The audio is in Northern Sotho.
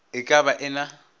e ka ba e na